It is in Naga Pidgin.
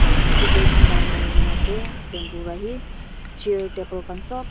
kiki decoration tahan dhalikae na ase bamboo wra he chair table khan sop.